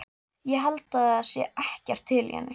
Ég held það sé ekkert til í henni.